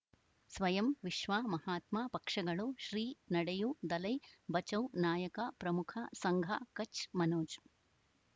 ಸ್ವಯಂ ವಿಶ್ವ ಮಹಾತ್ಮ ಪಕ್ಷಗಳು ಶ್ರೀ ನಡೆಯೂ ದಲೈ ಬಚೌ ನಾಯಕ ಪ್ರಮುಖ ಸಂಘ ಕಚ್ ಮನೋಜ್